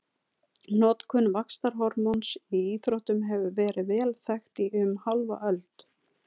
Notkun vaxtarhormóns í íþróttum hefur verið vel þekkt í um hálfa öld.